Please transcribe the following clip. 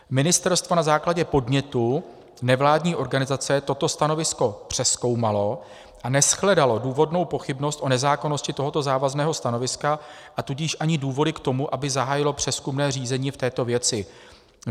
Ministerstvo na základě podnětu nevládní organizace toto stanovisko přezkoumalo a neshledalo důvodnou pochybnost o nezákonnosti tohoto závazného stanoviska, a tudíž ani důvody k tomu, aby zahájilo přezkumné řízení v této věci.